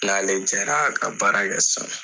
N' n'ale jɛra ka baara kɛ san